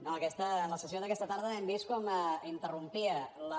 no en la sessió d’aquesta tarda hem vist com interrompia la